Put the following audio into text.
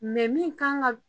Mɛ min kan ka